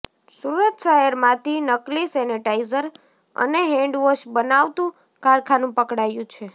સુરત શહેરમાંથી નકલી સેનેટાઇઝર અને હેન્ડ વોશ બનાવતું કારખાનું પકડાયું છે